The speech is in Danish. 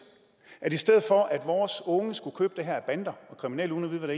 at i stedet for at vores unge skulle købe det her af bander og kriminelle uden at